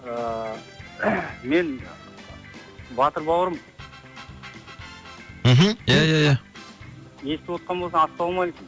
ыыы мен батыр бауырым мхм ия ия ия естіп отқан болсаң ассалаумалейкум